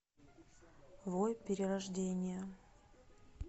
вой перерождение